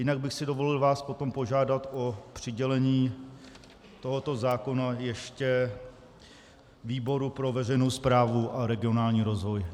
Jinak bych si dovolil vás potom požádat o přidělení tohoto zákona ještě výboru pro veřejnou správu a regionální rozvoj.